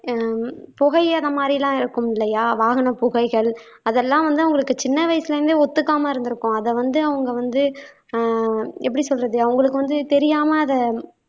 அஹ் புகை அந்த மாதிரி எல்லாம் இருக்கும் இல்லையா வாகன புகைகள் அதெல்லாம் வந்து அவங்களுக்கு சின்ன வயசுல இருந்தே ஒத்துக்காம இருந்திருக்கும் அத வந்து அவங்க வந்து அஹ் எப்படி சொல்றது அவங்களுக்கு வந்து தெரியாம அத